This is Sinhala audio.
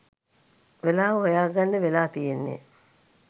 වෙලාව හොයා ගන්න වෙලා තියෙන්නේ.